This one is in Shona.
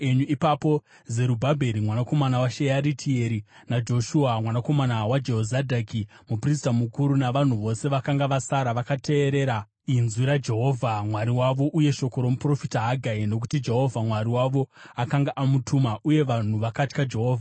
Ipapo Zerubhabheri mwanakomana waShearitieri, naJoshua mwanakomana waJehozadhaki, muprista mukuru, navanhu vose vakanga vasara vakateerera inzwi raJehovha Mwari wavo uye shoko romuprofita Hagai, nokuti Jehovha Mwari wavo akanga amutuma. Uye vanhu vakatya Jehovha.